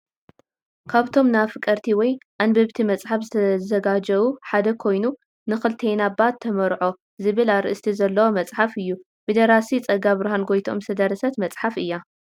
ካብቶም ን ኣፍቀርቲ ወይ ኣንበንቲ መጽሓፍ ዝተዘጋጀዉ ሓደ ኮይኑ ን ክልቴና ባ ተመርዖ? ዝብል ኣርእስቲ ዘለዎ መጽሓፍ እዩ። ብ ደራሲ ጸጋብርሃን ጎይትኦም ዝተደረሰት መጽሓፍ እያ።